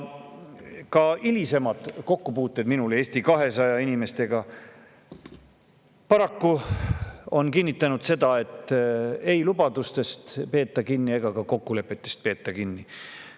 " Minu hilisemad kokkupuuted Eesti 200 inimestega paraku on kinnitanud seda, et lubadustest ei peeta kinni ja ka kokkulepetest ei peeta kinni.